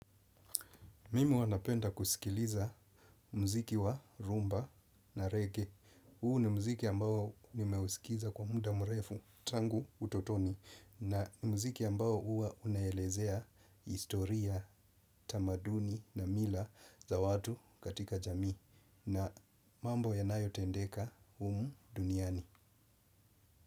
Mimi huwa napenda kusikiliza mziki wa rumba na reggae. Huu ni muziki ambao nimeusikiza kwa muda mrefu tangu utotoni. Na ni muziki ambao huwa unaelezea historia, tamaduni na mila za watu katika jamii. Na mambo yanayotendeka humu duniani.